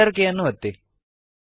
Enter ಕೀಯನ್ನು ಒತ್ತಿ